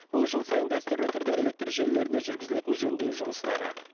бұл жыл сайын дәстүрлі түрде электр желілерінде жүргізілетін жөндеу жұмыстары